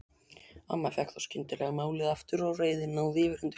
Amma fékk þá skyndilega málið aftur og reiðin náði yfirhöndinni.